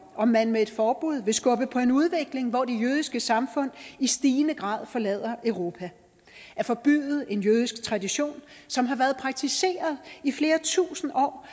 om man med et forbud vil skubbe på en udvikling hvor det jødiske samfund i stigende grad forlader europa at forbyde en jødisk tradition som har været praktiseret i flere tusinde år